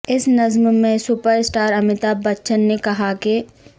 اس نظم میں super star Amitabh Bachchan نے کہا کہ